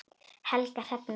Helga Hrefna.